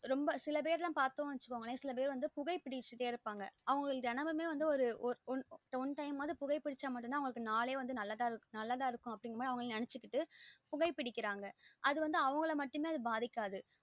ரொம்போ சில பேர்ல பாத்தோம் வச்சுகோங்களே சில பேர் வந்து புகைபிடிச்சுகிட்டே இருப்பாங்க அவங்களுக்கு தேனமுமே வந்து ஒ ஒரு one time வாது புகைபிடிச்ச தான் அன்னைக்கு நாளே நல்லா இருக்கும் அப்டின்னு அவங்களே நெனச்சு கிட்டு புகைபிடிகிறாங்க அது வந்து அவங்கள மட்டுமே அது பாதிக்காது